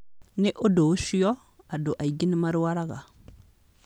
Nĩ ũndũ ũcio, andũ aingĩ nĩ marwaraga.